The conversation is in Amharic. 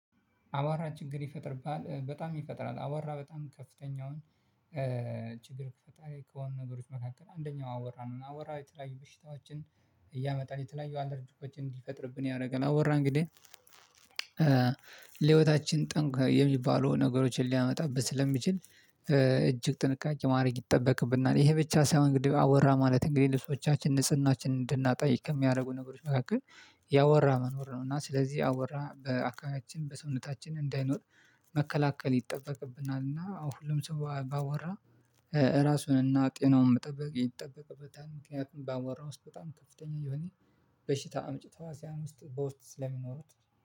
አቧራ ችግር ይፈጥርብሃል በጣም ይፈጥራል አቧራ በጣም ከፍተኛውን ችግር ከፈጣሪ ከሆኑ ነገሮች መካከል አንደኛው አቧራ ነው። እና አቧራ የተለያዩ በሽታዎችን እያመጣን የተለያዩ አለርጆኮችን እንዲፈጥርብን ያደርጋል አቧራ እንግዲህ ለህይወታችን ጠንቅ የሚባለው ነገሮችን ሊያመጣበት ስለሚችል እጅግ ጥንቃቄ ማድረግ ይጠበቅብናል። ይሄ ብቻ ሳይሆን ግድ አቧራ ማለት እንግዲህ ልብሶቻችን ንጽህናችንን እንድናጠ ከሚያደርጉ ነገሮች መካከል ያአቧራ መኖር ነው። እና ስለዚህ አቧራ በአካባቢያችን በሰውነታችን እንዳይኖር መከላከል ይጠበቅብናል። እና አዎ ሁሉም ሰው ከአቧራ ራሱን እና ጤናውን መጠበቅ ይጠበቅበታል። ምክንያቱም ባአቧራው ውስጥ በጣም ከፍተኛ የሆነ በሽታ አምጭ ተዋስያን ውስጥ በውስጥ ስለሚኖሩት